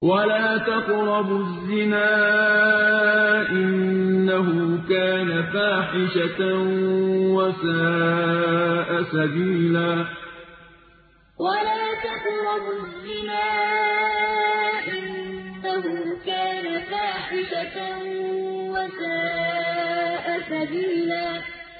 وَلَا تَقْرَبُوا الزِّنَا ۖ إِنَّهُ كَانَ فَاحِشَةً وَسَاءَ سَبِيلًا وَلَا تَقْرَبُوا الزِّنَا ۖ إِنَّهُ كَانَ فَاحِشَةً وَسَاءَ سَبِيلًا